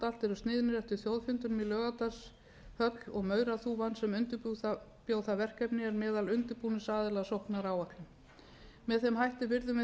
eru sniðnir eftir þjóðfundinum í laugardalshöll mauraþúfan sem undirbjó það verkefni er meðal undirbúningsaðila að sóknaráætlun með þeim hætti virðum við